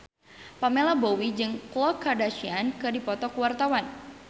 Pamela Bowie jeung Khloe Kardashian keur dipoto ku wartawan